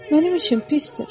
Mənim üçün pisdir.